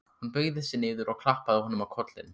Hún beygði sig niður og klappaði honum á kollinn.